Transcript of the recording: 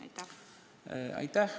Aitäh!